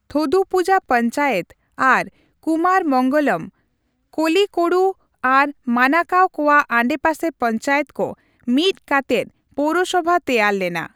ᱛᱷᱳᱫᱩᱯᱩᱡᱟ ᱯᱚᱧᱪᱟᱭᱮᱛ ᱟᱨ ᱠᱩᱢᱟᱨ ᱢᱚᱝᱜᱚᱞᱚᱢ, ᱠᱚᱨᱤᱠᱳᱰᱩ ᱟᱨ ᱢᱟᱱᱟᱠᱟᱣ ᱠᱚᱣᱟᱜ ᱟᱰᱮᱯᱟᱥᱮ ᱯᱚᱧᱪᱟᱭᱮᱛ ᱠᱚ ᱢᱤᱫ ᱠᱟᱛᱮᱫ ᱯᱳᱣᱨᱚᱥᱚᱵᱷᱟ ᱛᱮᱭᱟᱨ ᱞᱮᱱᱟ ᱾